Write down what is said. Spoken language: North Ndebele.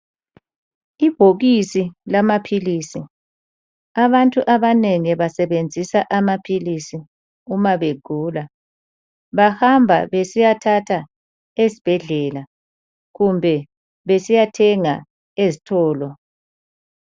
Ibhokisi lamaphilisi. Abantu abanengi basebenzisa amaphilisi uma begula. Bahamba besiyathatha esibhedlela kumbe besiyathenga ezitolo.